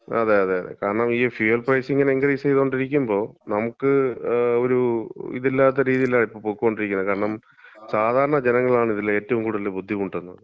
അതെ അതെ അതെ, കാരണം ഈ ഫ്യുവൽ പ്രൈസ് ഇങ്ങനെ ഇൻക്രീസ് ചെയ്തോണ്ടിരിക്കുമ്പോ നമുക്ക്, ഒരു ഇതില്ലാത്ത രീതീലാ ഇപ്പം പൊക്കോണ്ടിരിക്കുന്നേ. കാരണം സാധാരണ ജനങ്ങളാണ് ഇതില് ഏറ്റവും കൂടുതൽ ബുദ്ധിമുട്ടുന്നത്.